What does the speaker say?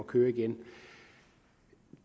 køre igen